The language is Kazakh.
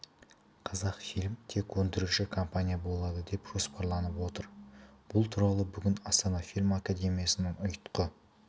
қазақфильм тек өндіруші компания болады деп жоспарланып отыр бұл туралы бүгін астана фильм академиясының ұйтқы